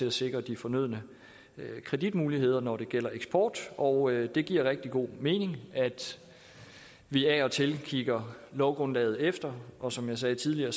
at sikre de fornødne kreditmuligheder når det gælder eksport og det giver rigtig god mening at vi af og til kigger lovgrundlaget efter og som jeg sagde tidligere